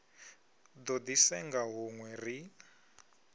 do di senga hunwe ri